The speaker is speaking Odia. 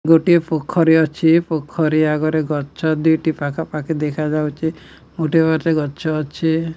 ଗୋଟିଏ ପୋଖରୀ ଅଛି। ପୋଖରୀ ଆଗରେ ଗଛ ଦି ଟି ପାଖାପାଖି ଦେଖଯାଉଚି। ଗୋଟିଏ ଗୋଟିଏ ଗଛ ଅଛି।